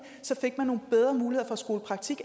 så fik man nogle bedre muligheder for skolepraktik